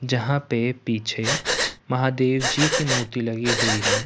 जहां पे पीछे महादेव जी ची मूर्ति लगी हुई है।